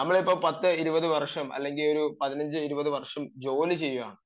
നമ്മൾ ഇപ്പം ഒരു പത്തിരുപത് വര്ഷം അല്ലെങ്കിൽ ഒരു പതിനഞ്ചു ഇരുപത് വര്ഷം ജോലി ചെയ്യുകയാണ്